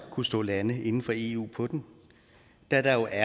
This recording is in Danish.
kunne stå lande inden for eu på den da der